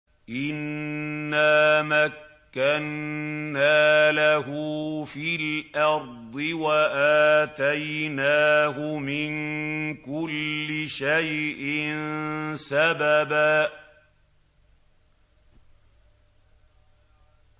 إِنَّا مَكَّنَّا لَهُ فِي الْأَرْضِ وَآتَيْنَاهُ مِن كُلِّ شَيْءٍ سَبَبًا